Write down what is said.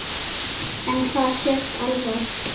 En það sést alveg.